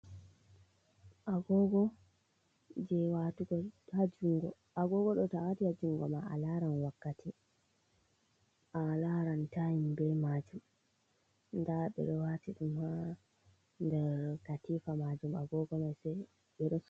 Agogo jei watugo ha juɗe. Agogo ɗo to a wati ha jungo ma a laran wakkati, a laran taim be maajum. Nda ɓe ɗo wati ɗum ha nder katifa maajum, agogo mai, se ɓe resi.